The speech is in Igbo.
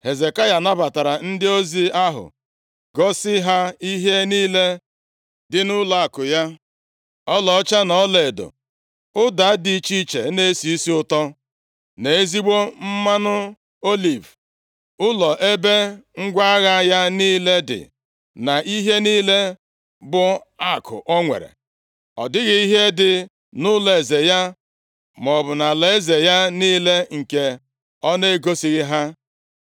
Hezekaya nabatara ndị ozi ahụ gosi ha ihe niile dị nʼụlọakụ ya, ọlaọcha, na ọlaedo, ụda dị iche iche na-esi isi ụtọ na ezigbo mmanụ oliv, ụlọ ebe ngwa agha ya niile dị, na ihe niile bụ akụ o nwere. Ọ dịghị ihe dị nʼụlọeze ya maọbụ nʼalaeze ya niile nke ọ na-egosighị ha.